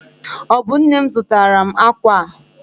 Ọ bụ nne m zụtara m akwa a?